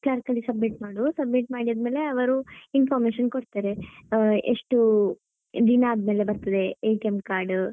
Clerk ಅಲ್ಲಿ submit ಮಾಡು submit ಮಾಡಿ ಆದ್ಮೇಲೆ ಅವರು information ಕೊಡ್ತಾರೆ ಹಾ ಎಷ್ಟು ದಿನ ಆದ್ಮೇಲೆ ಬರುತ್ತದೆ card .